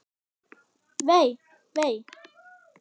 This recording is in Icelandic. Vei, vei.